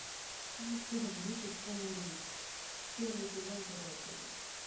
улицы разбитых фонарей первый сезон первая серия